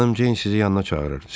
Xanım Ceyn sizi yanına çağırır.